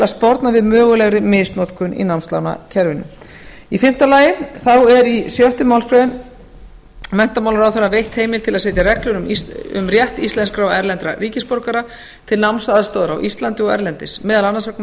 að sporna við mögulegri misnotkun í námslánakerfinu fimmti í sjöttu málsgrein er menntamálaráðherra veitt heimild til að setja reglur um rétt íslenskra og erlendra ríkisborgara til námsaðstoðar á íslandi og erlendis meðal annars vegna